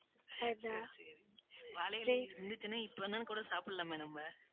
வாழை இலை இருந்துச்சுன்னா இப்ப கூட சாப்பிடலாமே நம்ம